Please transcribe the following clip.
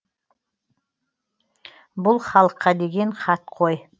бұл халыққа деген хат қой